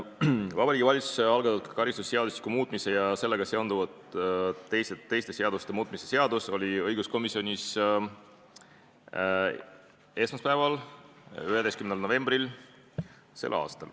Vabariigi Valitsuse algatatud karistusseadustiku muutmise ja sellega seonduvalt teiste seaduste muutmise seaduse eelnõu oli õiguskomisjonis esmaspäeval, 11. novembril s.